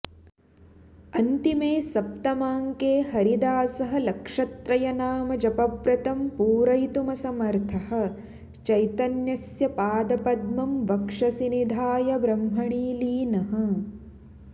अन्तिमे सप्तमाङ्के हरिदासः लक्षत्रयनामजपव्रतं पूरयितुमसमर्थः चैतन्यस्य पादपद्मं वक्षसि निधाय ब्रह्मणि लीनः